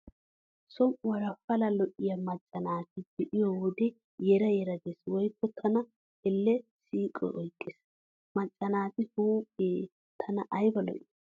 Som"uwaara pala lo'iyaa macca naata be'iyo wode yera yera gees woykko tana Elle siiqoy oyqqees. Macca naati huuphee tana ayba lo'i.